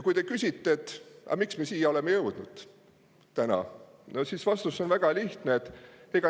Kui te küsite, et aga miks me oleme täna siia jõudnud, siis vastus on väga lihtne.